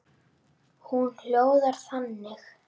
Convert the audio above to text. Hún hljóðar þannig